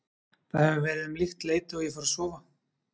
Það hefur verið um líkt leyti og ég fór að sofa.